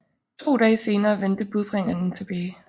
To dage senere vendte budbringerne tilbage